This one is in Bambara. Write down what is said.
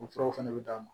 O furaw fɛnɛ bɛ d'a ma